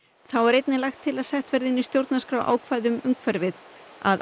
þá er einnig lagt til að sett verði inn í stjórnarskrá ákvæði um umhverfið að